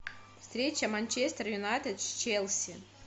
встреча манчестер юнайтед с челси